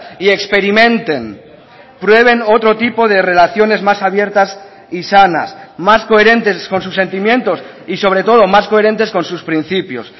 y experimenten prueben otro tipo de relaciones más abiertas y sanas más coherentes con sus sentimientos y sobre todo más coherentes con sus principios